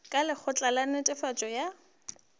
ka lekgotla la netefatšo ya